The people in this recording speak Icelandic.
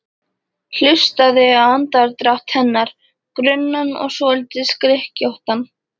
Hlustaði á andardrátt hennar, grunnan og svolítið skrykkjóttan.